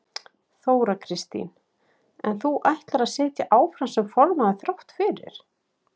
Þóra Kristín: En þú ætlar að sitja áfram sem formaður þrátt fyrir?